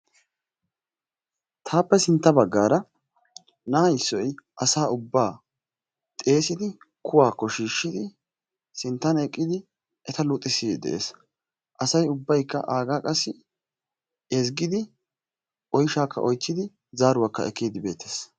Taappe sintta baggaara na'a issoy asa ubbaa xeesidi kuwaakko shiishshidi sinttan eqqidi eta luxissiiddi de'es, asay ubbaykka aagaa qassi ezggiiddi oyshaakka oychchidi zaaruwakka ekkiiddi beettes.